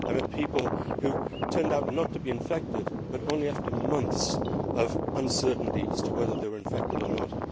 I have met people who turned out not to be infected, but only after months of uncertainty as to whether they were infected or not.